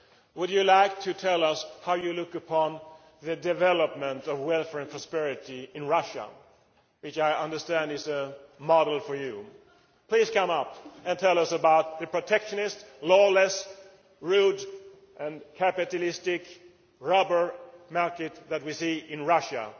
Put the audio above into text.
Would you like to tell us how you look upon the development of welfare and prosperity in Russia, which I understand is a model for you? Please come up and tell us about the protectionist, lawless, rude and capitalist robber market that we see in Russia!